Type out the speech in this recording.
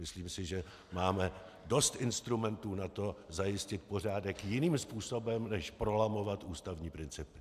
Myslím si, že máme dost instrumentů na to, zajistit pořádek jiným způsobem než prolamovat ústavní principy.